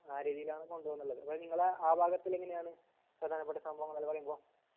ആ രീതീലാണ് കൊണ്ട് പോകുനുള്ളത് അപ്പൊ നിങ്ങളെ ആ ഭാഗത്തില് എങ്ങനെയാണ് പ്രധാനപ്പെട്ട സംഭവങ്ങളെല്ലാം പറീമ്പോ